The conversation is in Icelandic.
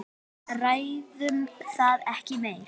Ræðum það ekki meir.